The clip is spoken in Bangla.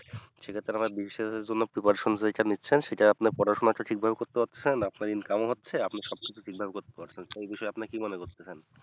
সে ক্ষেত্রে আমরা BCS এর জন্য preparation যেইটা নিচ্ছেন সেটা পড়াশোনাটা ঠিক ভাবে করতে পারছেন আপনার income ও হচ্ছে কিছু তে income করতে পারছেন সেই বিষয়ে আপনি কি মনে করতেছেন